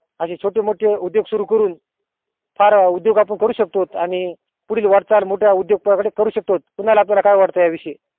अशे छोटे मोठे उद्योग सुरु करून फार उदोग आपण करू शकतोत आणि पुढील वाट चाल आपण मोठ्या उदोगावर करू शकतोत कुणाला काय वाट या विषयी